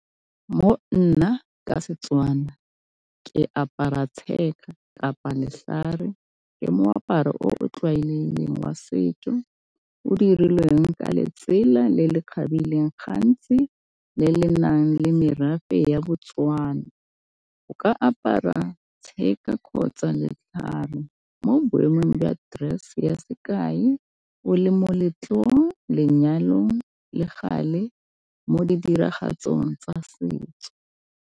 Mo nna ka Setswana ke apara tshega kapa ke moaparo o o tlwaelegileng wa setso o dirilweng ka letsela le le kgabileng, gantsi le le nang le merafe ya Botswana. O ka apara tshega kgotsa letlhare mo boemong jwa dress ya sekai o le moletlo, lenyalong, le gale mo di diragatsong tsa setso.